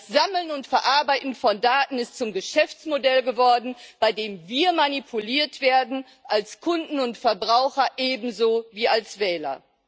Das Sammeln und Verarbeiten von Daten ist zum Geschäftsmodell geworden, bei dem wir manipuliert werden, als Kunden und Verbraucher ebenso wie als Wähler.